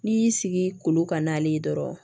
N'i y'i sigi kolo ka n'ale ye dɔrɔn